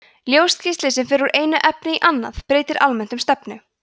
ljósgeisli sem fer úr einu efni í annað breytir almennt um stefnu